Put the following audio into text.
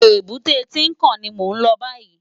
Ébùté Tinkán ni mó n lò bàyí